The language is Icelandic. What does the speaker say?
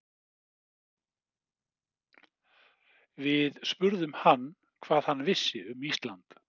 Við spurðum hann hvað hann vissi um Ísland?